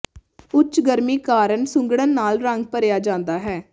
ਉੱਚ ਗਰਮੀ ਕਾਰਨ ਸੁੰਗੜਨ ਨਾਲ ਰੰਗ ਭਰਿਆ ਜਾਂਦਾ ਹੈ